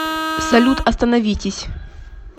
салют остановитесь